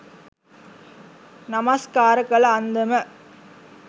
නමස්කාර කළ අන්දම